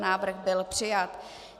Návrh byl přijat.